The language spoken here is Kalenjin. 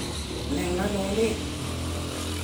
Ne ng'alalen.